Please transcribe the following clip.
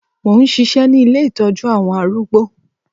Mò ń ṣisẹ́ ní ilé Ìtọ́jú àwọn arúgbó.